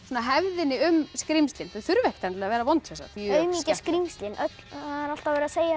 hefðinni um skrímslin þau þurfa ekkert að vera vond aumingja skrímslin alltaf að vera að segja að